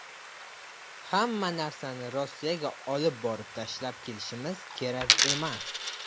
Hamma narsani Rossiyaga olib borib tashlab kelishimiz kerak emas.